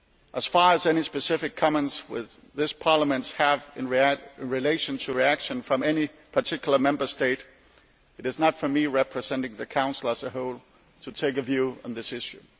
As far as any specific comments this Parliament has in relation to reactions from any particular Member State, it is not for me representing the Council as a whole to take a view on this issue.